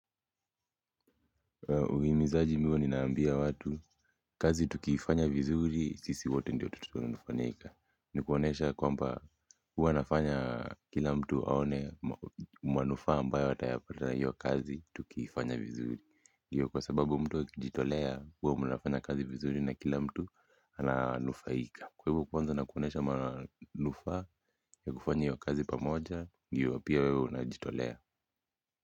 Uimizaji mi huwa ninaambia watu, kazi tukiifanya vizuri, sisi wote ndio tutafanyika. Nikuonesha kwamba huwa nafanya kila mtu aone manufaa ambayo atayapata hiyo kazi tukiifanya vizuri. Kwa sababu mtu akijitolea huwa mnafanya kazi vizuri na kila mtu ananufaika kwa hivo kwanza nakuonesha manufaa ya kufanya iyo kazi pamoja, ndio pia wewe unajitolea.